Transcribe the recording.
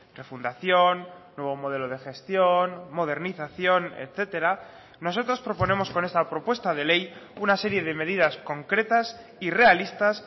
refundación nuevo modelo de gestión modernización etcétera nosotros proponemos con esta propuesta de ley una serie de medidas concretas y realistas